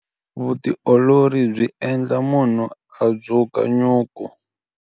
Vutiolori byi endla munhu a dzuka nyuku.